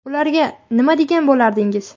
Ularga nima degan bo‘lardingiz?